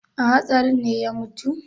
A hatsarin ne ya mutu?